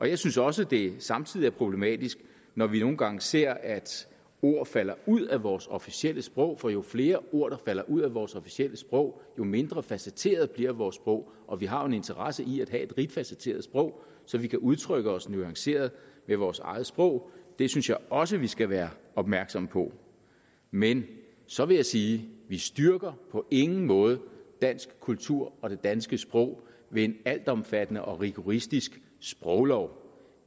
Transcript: jeg synes også det samtidig er problematisk når vi nogle gange ser at ord falder ud af vores officielle sprog for jo flere ord der falder ud af vores officielle sprog jo mindre facetteret bliver vores sprog og vi har jo en interesse i at have et rigt facetteret sprog så vi kan udtrykke os nuanceret med vores eget sprog det synes jeg også vi skal være opmærksomme på men så vil jeg sige vi styrker på ingen måde dansk kultur og det danske sprog ved en altomfattende og rigoristisk sproglov